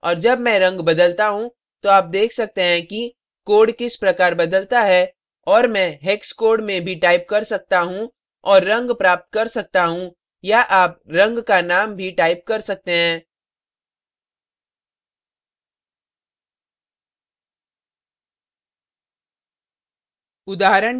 और जब मैं रंग बदलता how तो आप देख सकते हैं कि code किस प्रकार बदलता है और मैं hex code hex code में भी type कर सकता how और रंग प्राप्त कर सकता how या आप रंग का name भी type कर सकते हैं